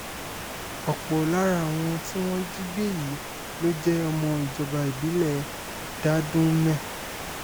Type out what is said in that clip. ọ̀pọ̀ lára àwọn tí wọ́n jí gbé yìí ló jẹ́ ọmọ ìjọba ìbílẹ̀ dádùnmé